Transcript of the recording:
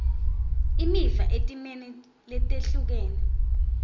imiva etimeni letehlukene